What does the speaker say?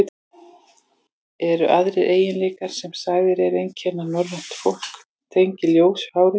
Eru aðrir eiginleikar, sem sagðir eru einkenna norrænt fólk, tengdir ljósu hári?